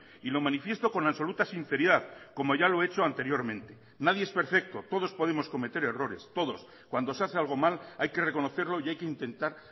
y lo manifiesto con absoluta sinceridad como ya lo he hecho anteriormente nadie es perfecto todos podemos cometer errores todos cuando se hace algo mal hay que reconocerlo y hay que intentar